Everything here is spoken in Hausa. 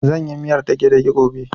Zan yi miyar dage-dage gobe